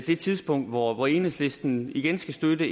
det tidspunkt hvor enhedslisten igen skal støtte